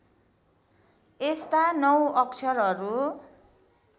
यस्ता नौ अक्षरहरू